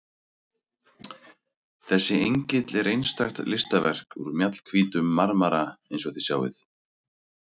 Þessi engill er einstakt listaverk úr mjallhvítum marmara eins og þið sjáið.